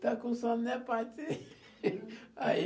Está com sono, né. Aí